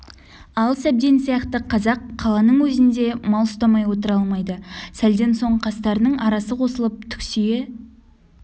ал сәбден сияқты қазақ қаланың өзінде мал ұстамай отыра алмайды сәлден соң қастарының арасы қосылып түксие